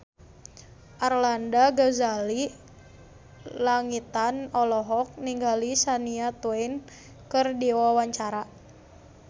Arlanda Ghazali Langitan olohok ningali Shania Twain keur diwawancara